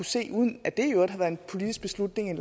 se uden at det i øvrigt har været en politisk beslutning